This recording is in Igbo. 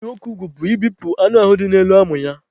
Ibi nwoke ugwu bụ ịbepụ anụ ahụ dị n'elu amụ ya.